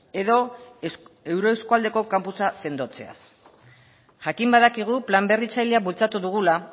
edo euro eskualdeko kampusa sendotzeaz jakin badakigu plan berritzailea bultzatu dugula